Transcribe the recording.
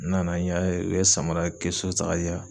N nana n y'a ye, u ye samara kɛsu ta ka di yan.